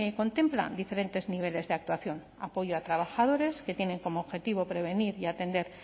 contempla diferentes niveles de actuación apoyo a trabajadores que tienen como objetivo prevenir y atender